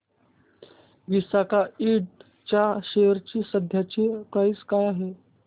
विसाका इंड च्या शेअर ची सध्याची प्राइस काय आहे